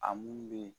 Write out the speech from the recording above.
A mun be yen